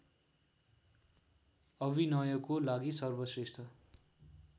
अभिनयको लागि सर्वश्रेष्ठ